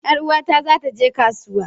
Yar uwata za ta je kasuwa.